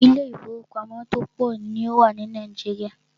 Ilé ìfọwọ́pamo tó pọ̀ ní o wà ní Nàìjíríà.